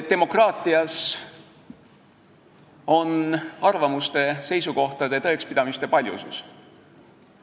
Demokraatias on arvamuste, seisukohtade ja tõekspidamiste paljusus.